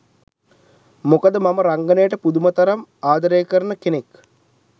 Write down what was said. මොකද මම රංගනයට පුදුම තරම් ආදරේ කරන කෙනෙක්.